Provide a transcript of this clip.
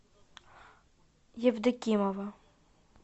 евдокимова